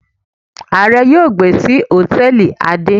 Aare yóò gbe si hòtẹ́ẹ̀lì ade.